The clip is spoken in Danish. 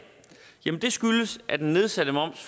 det skyldes at den nedsatte moms